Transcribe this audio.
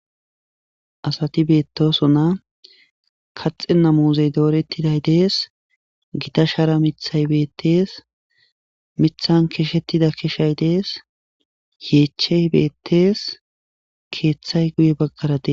Asati beettoso na kaxe na muzey doorettiday dees gita shara mithay beettees mithan keshettida keshay dees yeechey beettees keeththay guye baggaradee.